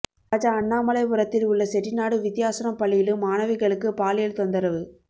ராஜா அண்ணாமலைபுரத்தில் உள்ள செட்டிநாடு வித்யாஷ்ரம் பள்ளியிலும் மாணவிகளுக்கு பாலியல் தொந்தரவு